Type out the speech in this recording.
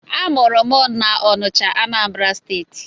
Amụrụ m na Ọnịcha, Anambra steeti